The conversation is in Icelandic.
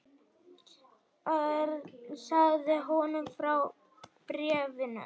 Örn sagði honum frá bréfunum.